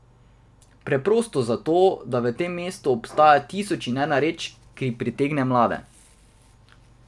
Preprosto zato, da v tem mestu obstaja tisoč in ena reč, ki pritegne mlade.